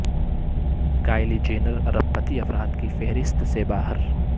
Kylie Jenner ارب پتی افراد کی فہرست سے باہر